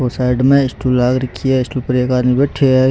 और साइड में स्टूल लाग रखी है स्टूल पर एक आदमी बैठयो हैं।